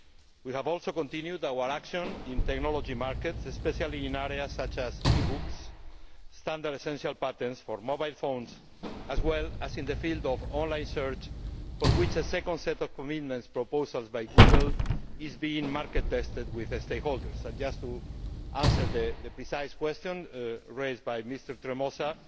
We have also continued our action in technology markets, especially in areas such as e books, standard essential patents for mobile phones, as well as in the field of online search, for which a second set of commitment proposals by Google is being market tested with stakeholders. Just to answer the precise question raised by Mr Tremosa,